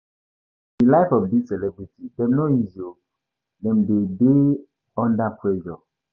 Di life of dis celebrity dem no easy o, dem too de dey under pressure.